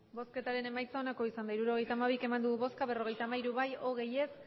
hirurogeita hamabi eman dugu bozka berrogeita hamairu bai hogei ez